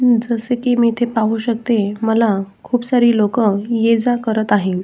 जस की मी इथे पाहू शकते मला खुप सारी लोक या जा करत आहे.